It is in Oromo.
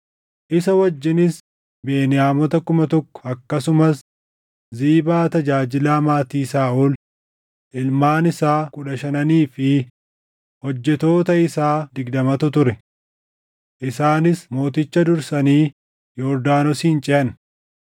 Isa wajjinis Beniyaamota kuma tokko akkasumas Ziibaa tajaajilaa maatii Saaʼol, ilmaan isaa kudha shananii fi hojjettoota isaa digdamatu ture. Isaanis mooticha dursanii Yordaanosin ceʼan.